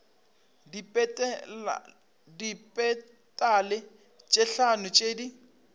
dipetale tše hlano tše di